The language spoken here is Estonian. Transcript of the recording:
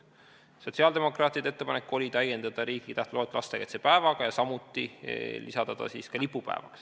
Sotsiaaldemokraatide ettepanek oli täiendada riiklike tähtpäevade loetelu lastekaitsepäevaga ja samuti lisada see lipupäevade hulka.